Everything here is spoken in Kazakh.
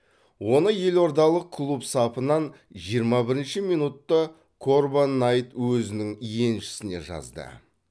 оны елордалық клуб сапынан жиырма бірінші минутта корбан найт өзінің еншісіне жазды